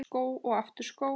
Skó og aftur skó.